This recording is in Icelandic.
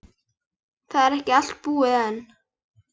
Það er ekki allt búið enn.